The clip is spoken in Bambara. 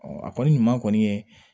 a kɔni ɲuman kɔni ye